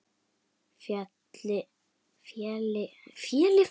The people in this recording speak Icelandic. Félli hann í kramið hér?